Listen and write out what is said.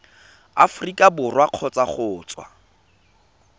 aforika borwa kgotsa go tswa